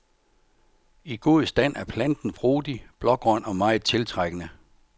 I god stand er planten frodig, blågrøn og meget tiltrækkende.